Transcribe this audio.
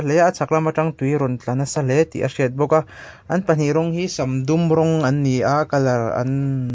a chhak lam atang tui a rawn tla nasa hle tih a hriat bawk a an pahnih rawng hi sam dum rawng an ni a colour ann--